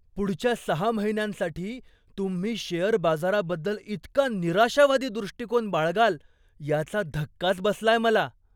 पुढच्या सहा महिन्यांसाठी तुम्ही शेअर बाजाराबद्दल इतका निराशावादी दृष्टिकोन बाळगाल याचा धक्काच बसलाय मला.